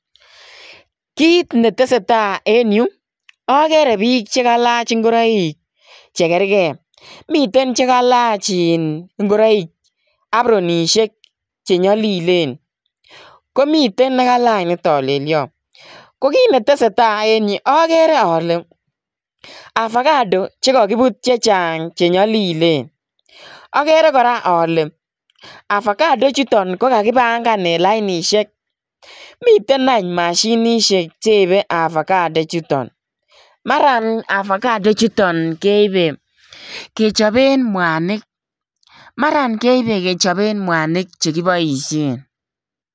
Kit ne tesetai en Yuu agere biik che kaliach ingoraik che kergei , miten che kalaach in ingoroik appronishek che nyalilen komiteen ne kalaach ne talelian Ko kiit ne tesetai en Yuu agere ale ovacado chekakebuut chechaang che nyalilen agere kora ale ovacado chutoon agere ale kagipangaan en lainisheek, miten aany mashinisheek cheibe ovacadosheek chutoon maraan ovacado chutoon keibe kechapeen mwanig mara keibe kechapeen mwanig chekibaisheen.